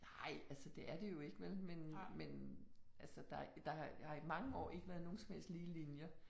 Nej altså det er det jo ikke vel men men altså der der har har i mange år ikke været nogen som helst lige linjer